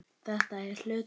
Þetta er hluti af lífinu.